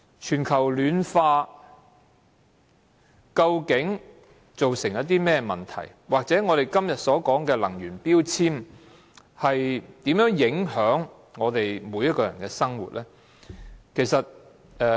全球暖化究竟造成甚麼問題，或者我們今天所說的能源標籤，如何影響我們每一個人的生活呢？